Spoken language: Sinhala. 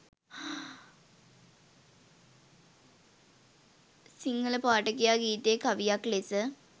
සිංහල පාඨකයා ගීතය කවියක් ලෙස